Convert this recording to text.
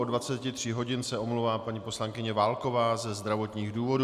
Od 23 hodin se omlouvá paní poslankyně Válková ze zdravotních důvodů.